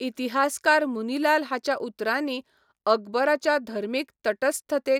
इतिहासकार मुनीलाल हाच्या उतरांनी, ' अकबराच्या धर्मीक तटस्थतेक